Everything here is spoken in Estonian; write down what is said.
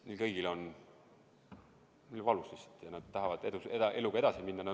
Neil kõigil on nii valus ja nad tahavad eluga edasi minna.